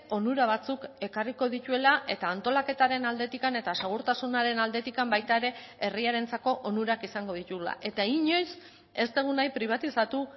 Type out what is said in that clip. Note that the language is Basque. onura batzuk ekarriko dituela eta antolaketaren aldetik eta segurtasunaren aldetik baita ere herriarentzako onurak izango dituela eta inoiz ez dugu nahi pribatizatu